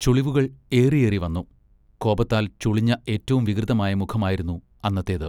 ചുളിവുകൾ ഏറിയേറിവന്നു. കോപത്താൽ ചുളിഞ്ഞ ഏറ്റവും വികൃതമായ മുഖമായിരുന്നു അന്നത്തേത്.